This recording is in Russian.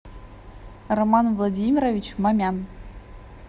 роман владимирович мамян